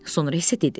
Sonra isə dedi.